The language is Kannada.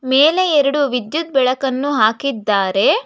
ಮೇಲೆ ಎರಡು ವಿದ್ಯುತ್ ಬೆಳಕನ್ನು ಹಾಕಿದ್ದಾರೆ.